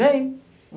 Vem.